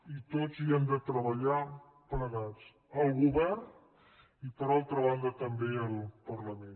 i tots hi hem de treballar plegats el govern i per altra banda també el parlament